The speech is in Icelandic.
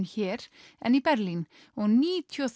hér en í Berlín og níutíu og